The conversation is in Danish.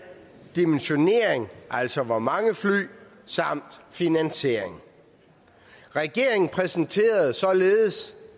dimensionering altså hvor mange fly samt finansiering regeringen præsenterede således